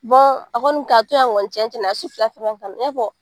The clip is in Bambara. a kɔni ka to yan kɔni cɛncɛn na a ye su fila fɛn fɛn kɛ i b'a fɔ